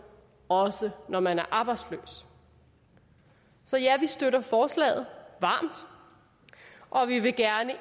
også når man er arbejdsløs så ja vi støtter forslaget varmt og vi vil gerne